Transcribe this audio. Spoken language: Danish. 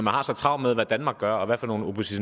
har så travlt med hvad danmark gør og